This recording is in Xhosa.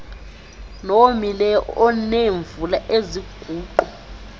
nowomileyo oneemvula eziguqu